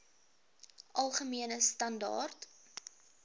algemene standaar